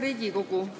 Hea Riigikogu!